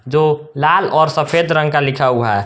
दो लाल और सफेद रंग का लिखा हुआ है।